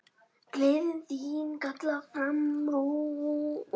Gleðin þín kallar fram bros.